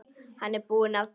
Hann er búinn að því.